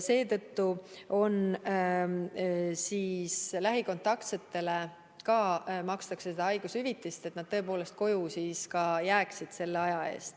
Seetõttu makstakse ka lähikontaktsetele haigushüvitist, tagamaks, et nad tõepoolest koju jääksid.